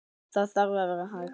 Það þarf að vera hægt.